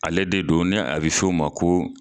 Ale de don ni a be fe o ma ko